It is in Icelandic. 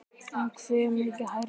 En hve mikið hærra?